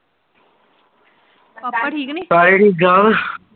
ਪਾਪਾ ਠੀਕ ਨੇ